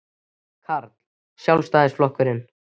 Karl: Sjálfstæðisflokkinn?